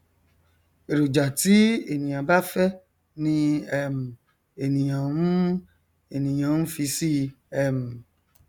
èròjà tí ènìà bá fẹ ni um ènìàn n ènìàn n fi sí i um